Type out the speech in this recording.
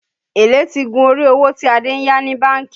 Èlé ti gun orí owó tí Adé yá ní bánkì